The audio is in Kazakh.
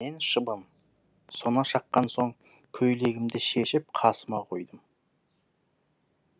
мен шыбын сона шаққан соң көйлегімді шешіп қасыма қойдым